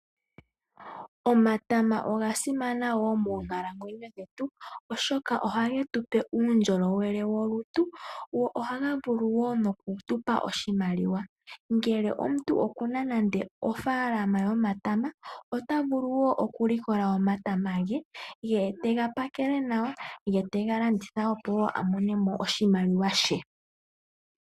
Omatama oga simana woo moonkalamwenyo dhetu oshoka ohage tupe uundjolowele wolutu go ohaga vulu woo noku tupa oshimaliwa. Ngele omuntu okuna nande ofaalama yomatama ota vulu woo oku likola omatama ge, ye tega pakele nawa ye tega landitha po woo a monemo oshimaliwa she.